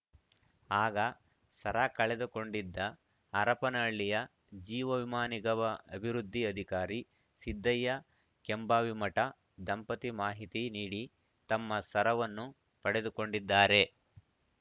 ಆಗ ಸರ ಕಳೆದುಕೊಂಡಿದ್ದ ಹರಪನಹಳ್ಳಿಯ ಜೀವ ವಿಮಾ ನಿಗಮ ಅಭಿವೃದ್ಧಿ ಅಧಿಕಾರಿ ಸಿದ್ದಯ್ಯ ಕೆಂಭಾವಿಮಠ ದಂಪತಿ ಮಾಹಿತಿ ನೀಡಿ ತಮ್ಮ ಸರವನ್ನು ಪಡೆದುಕೊಂಡಿದ್ದಾರೆ